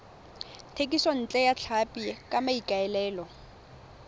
thekisontle ya tlhapi ka maikaelelo